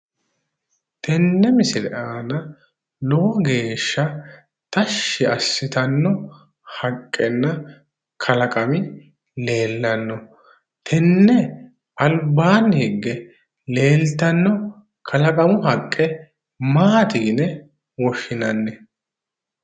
Tenne misile aana lowo geeshsha tashshi assitanno haqqe kalaqami leellanno. tenne albaanni higge leeltanno kalaqamu haqqe maati yine woshshinanni?